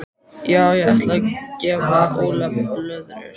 Já ég ætla að gefa Óla blöðrur.